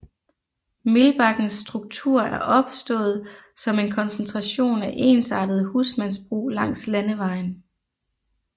Milbakkens struktur er opstået som en koncentration af ensartede husmandsbrug langs landevejen